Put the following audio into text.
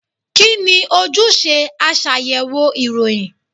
Kí ni ojúṣe aṣàyẹ̀wò ìròyìn?